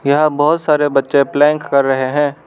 यहां बहुत सारे बच्चे प्लैंक कर रहे हैं।